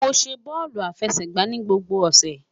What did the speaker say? Mo ṣe bọọlu afẹsẹgba ni gbogbo ọsẹ